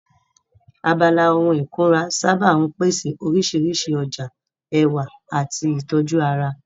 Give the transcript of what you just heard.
Abala ohun ìkunra sáábà ń pèsè oríṣiríṣi ọjà ẹwà àti ìtọ́jú ara